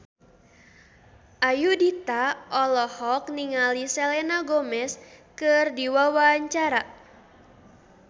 Ayudhita olohok ningali Selena Gomez keur diwawancara